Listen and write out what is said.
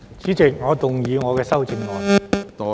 主席，我動議我的修正案。